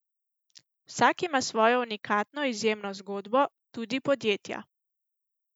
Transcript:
Vsak ima svojo unikatno izjemno zgodbo, tudi podjetja.